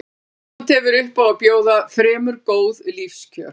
Ísland hefur upp á að bjóða fremur góð lífskjör.